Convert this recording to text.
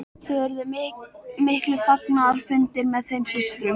Þar urðu miklir fagnaðarfundir með þeim systrum.